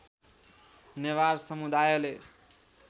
नेवार समुदायले